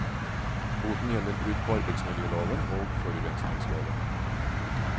Boten gjelder brudd på arbeidsmiljøloven og forurensningsloven.